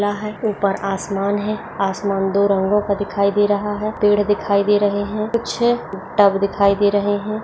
यहाँ उपर आसमान है आसमान दो रंगो का दिखाई दे रहा है पेड़ दिखाई दे रहे है कुछ टब दिखाई दे रहे है।